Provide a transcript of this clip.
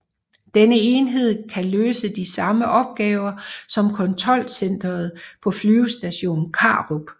Denne enhed kan løse de samme opgaver som kontrolcentret på Flyvestation Karup